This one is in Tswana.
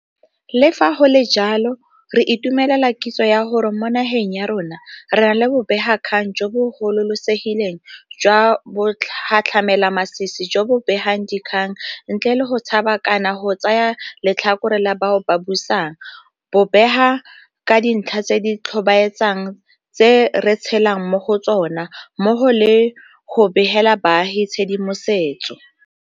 Le fa go le jalo, re itumelela kitso ya gore mo nageng ya rona re na le bobegakgang jo bo gololesegileng jwa bogatlhamelamasisi jo bo begang dikgang ntle le go tshaba kana go tsaya letlhakore la bao ba busang, bo bega ka dintlha tse di tlhobaetsang tse re tshelang mo go tsona, mmogo le go begela baagi tshedimosetso